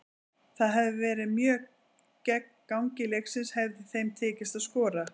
Það hefði verið mjög gegn gangi leiksins hefði þeim tekist að skora.